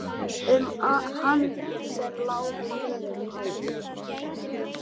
Um hann sem lá við hliðina á